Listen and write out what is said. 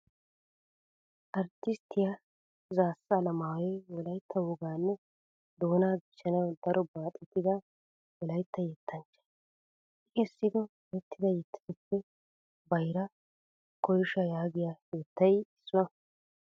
Arttisttiya Zaassa Alamaayoy Wolaytta wogaanne doonaa dichchanawu daro baaxettida Wolaytta yettanchcha. I kessido erettida yettatuppe Bayra Koyshaa yaagiya yettay issuwaa.